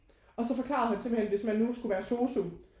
Og så forklarede han simpelthen hvis man nu skulle være sosu